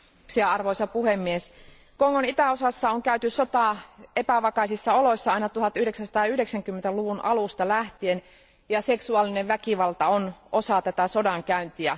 Arvoisa puhemies, Kongon itäosassa on käyty sotaa epävakaissa oloissa aina 1990 luvun alusta lähtien, ja seksuaalinen väkivalta on osa tätä sodankäyntiä.